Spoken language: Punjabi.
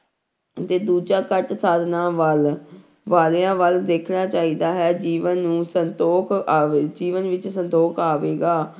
ਤੇ ਦੂਜਾ ਘੱਟ ਸਾਧਨਾਂ ਵੱਲ ਵਾਲਿਆਂ ਵੱਲ ਦੇਖਣਾ ਚਾਹੀਦਾ ਹੈ ਜੀਵਨ ਨੂੰ ਸੰਤੋਖ ਆਵੇ, ਜੀਵਨ ਵਿੱਚ ਸੰਤੋਖ ਆਵੇਗਾ।